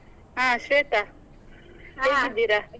ಹ ಶ್ವೇತ, .